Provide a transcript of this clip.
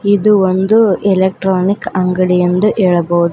ಇದು ಒಂದು ಎಲೆಕ್ಟ್ರಾನಿಕ್ ಅಂಗಡಿ ಎಂದು ಹೇಳಬಹುದು.